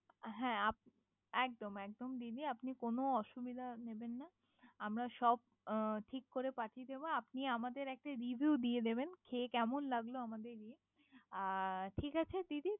হ্যা আব, একদম একদম দিদি কোন অসুবিধা নিবেন না। আমরা সব ঠিক করে পাঠিয়ে দিবো। আপনি আমাদের একটি review দিয়ে দিবেন। খেয়ে কেমন লাগলো। আমাদের ইয়ে। অ ঠিক আছে দিদি।